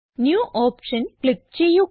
new option click ചെയ്യുക